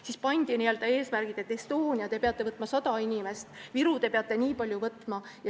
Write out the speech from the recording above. Siis pandi eesmärgiks, et Estonia peab võtma 100 inimest ja Viru peab jälle nii palju võtma.